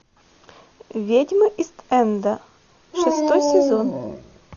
ведьмы ист энда шестой сезон